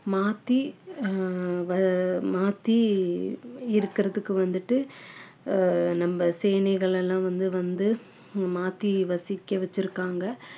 மாத்தி ஆஹ் வ~ மாத்தி இருக்குறதுக்கு வந்துட்டு ஆஹ் நம்ம சேனைகள் எல்லாம் வந்து வந்து மாத்தி வசிக்க வச்சிருக்காங்க